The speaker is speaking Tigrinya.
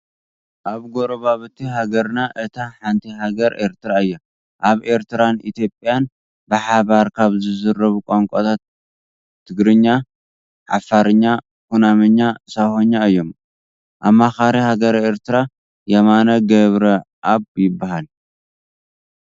ካብ ጎራብቲ ሃገርና እታ ሓንቲ ሃገረ ኤረትራ እያ። ኣብ ኤረትራን ኢትዮጵያን ብሓባር ካብ ዝዝረቡ ቋንቋታት ትግርኛ፣ ዓፋርኛ፣ ኩናምኛ፣ ሳሆኛ እዮም። ኣማኻሪ ሃገረ ኤረትራ የማነ ገብረኣብ ይበሃሉ።